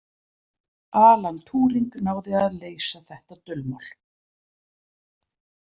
Alann Túring náði að leysa þetta dulmál.